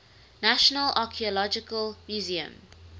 national archaeological museum